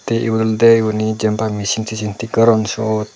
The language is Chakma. te inot olode machine tasine thik goron siot.